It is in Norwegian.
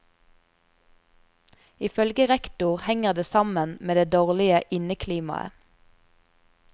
Ifølge rektor henger det sammen med det dårlige inneklimaet.